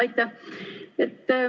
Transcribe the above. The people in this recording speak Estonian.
Aitäh!